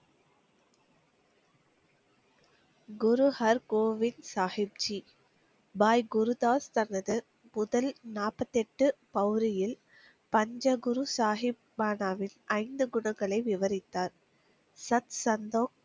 குரு ஹர் கோவிந்த் சாகிப் ஜி பைகுருதாஸ் சர்வதிர், முதல் நாற்பத்தெட்டு பௌரியில், பஞ்சகுரு சாகிப் பாநாவில் ஐந்து குணங்களை விவரித்தார் சத், சந்தோ,